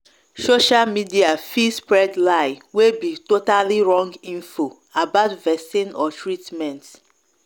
social media fit spread lieway be totally wrong info about vaccine or treatment.